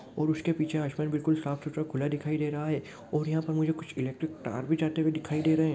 और उसके पीछे आसमान बिल्कुल साफ सुथरा खुला दिखाई दे रहा है और यह पे मुझे कुछ इलेक्ट्रिक तार भी जाते हुए दिखाई दे रहे है।